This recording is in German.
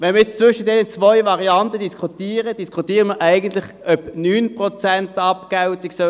Wenn wir nun über diese beiden Varianten diskutieren, diskutieren wir eigentlich, ob es 9 oder 6 Prozent Abgeltung sein sollen.